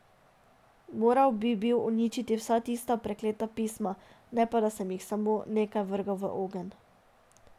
Moral bi bil uničiti vsa tista prekleta pisma, ne pa da sem jih samo nekaj vrgel v ogenj.